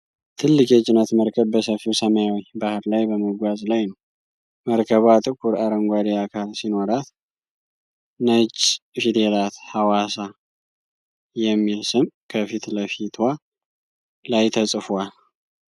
ትልቅ የጭነት መርከብ በሰፊው ሰማያዊ ባህር ላይ በመጓዝ ላይ ነው። መርከቧ ጥቁር አረንጓዴ አካል ሲኖራት፣ ነጭ ፊደላት 'ሃዋሳ' የሚል ስም ከፊት ለፊቷ ላይ ተጽፏል።